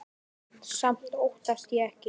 Samt óttast ég ekki.